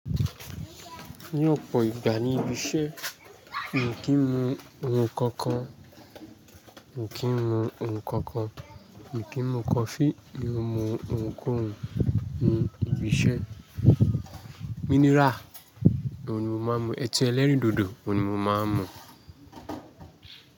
Ní ọ̀pọ̀ ìgbà ní ibi iṣẹ́, mi ò kí ń mu ohun kankan. Mi ò kí ń mu ohun kankan. Mi ò kí ń mu coffee, mi ò mu ohunkóhun ní ibi iṣẹ́. Mineral oun ni mo máa ń mu, ẹtí ẹlẹ́rìndòdò oun ni mo máa ń mu.